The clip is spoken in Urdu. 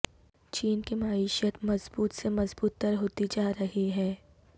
چین کی معیشت مضبوط سے مظبوط تر ہوتی جا رہی ہے